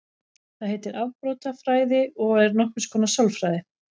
Það heitir afbrotafræði og er nokkurs konar sálfræði.